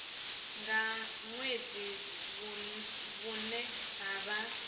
nga ṅwedzi vhune ha vha